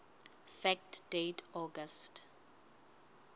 fact date august